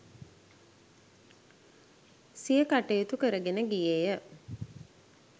සිය කටයුතු කරගෙන ගියේය